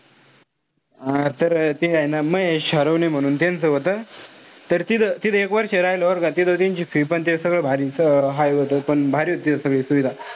हा तर ते हाये ना महेश हरवणे म्हणून त्यांचं होत. तर तिथं-तिथं एक वर्ष राहिलो बरं का. तिथं त्यांची fee पण ते सगळं भारी. High होत पण भारी होत सगळं सोयीसुविधा.